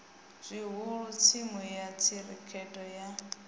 zwihulu thimu ya khirikhethe ye